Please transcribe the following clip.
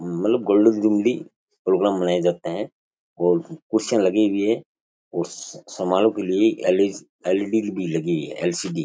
मतलब golden jubilee programme मनाए जाते हैं और कुर्सियां लगी हुई है और समारोह के लिए एल एल ई डी भी लगी हुई है एल सी डी --